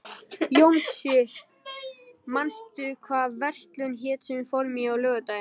Jónsi, manstu hvað verslunin hét sem við fórum í á laugardaginn?